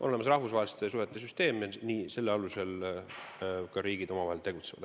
On olemas rahvusvaheliste suhete süsteem, selle alusel riigid omavahel ka tegutsevad.